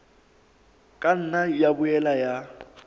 ka nna ya boela ya